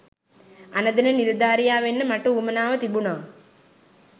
අණදෙන නිලධාරියා වෙන්න මට උවමනාව තිබුනා.